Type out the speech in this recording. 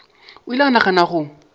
o ile a gana go